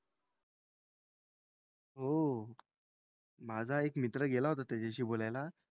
हो. माझा एक मित्र गेला होता त्याच्याशी बोलायला.